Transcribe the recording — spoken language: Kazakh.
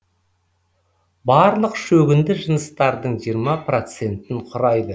барлық шөгінді жыныстардың жиырма процентін кұрайды